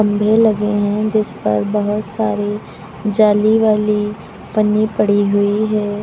वे लगे हैं जिस पर बहुत सारी जाली वाली पन्नी पड़ी हुई है।